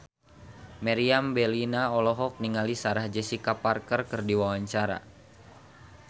Meriam Bellina olohok ningali Sarah Jessica Parker keur diwawancara